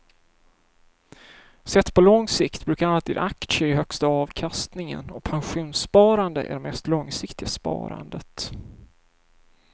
Sett på lång sikt brukar alltid aktier ge högsta avkastningen och pensionssparande är det mest långsiktiga sparandet.